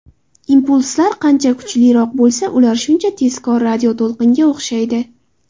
Impulslar qancha kuchliroq bo‘lsa, ular shuncha tezkor radioto‘lqinga o‘xshaydi.